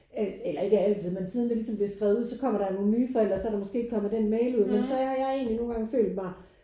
Øh eller ikke altid men siden det ligesom blev skrevet ud. Så kommer der nogen nye forældre så er der måske ikke kommet den mail ud endnu men så har jeg egentlig nogle gange følt mig